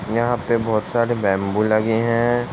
यहाँ पे बहौत सारे बैम्बू लगे हैं।